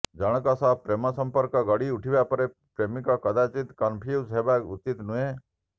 ଜଣଙ୍କ ସହ ପ୍ରେମ ସଂପର୍କ ଗଢ଼ି ଉଠିବା ପରେ ପ୍ରେମିକ କଦାଚିତ୍ କନଫ୍ୟୁଜ୍ ହେବା ଉଚିତ ନୁହେଁ